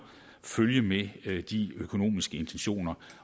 følge med de økonomiske intentioner